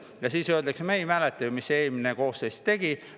Ja siis öeldakse: "Me ei mäleta ju, mis eelmine koosseis tegi.